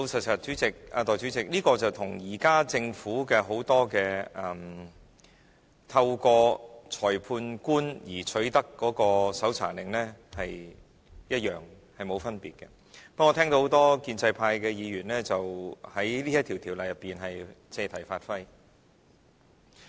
代理主席，老實說，這個做法跟現時政府很多透過裁判官取得搜查令一樣，並無分別，不過，我聽到很多建制派議員在這項條文上借題發揮。